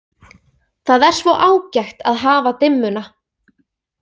Það er svo ágætt að hafa dimmuna.